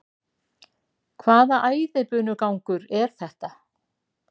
Hvaða æðibunugangur er þetta?